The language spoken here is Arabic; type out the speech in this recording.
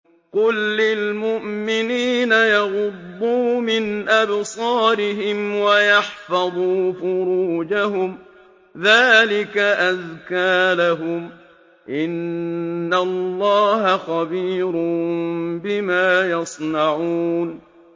قُل لِّلْمُؤْمِنِينَ يَغُضُّوا مِنْ أَبْصَارِهِمْ وَيَحْفَظُوا فُرُوجَهُمْ ۚ ذَٰلِكَ أَزْكَىٰ لَهُمْ ۗ إِنَّ اللَّهَ خَبِيرٌ بِمَا يَصْنَعُونَ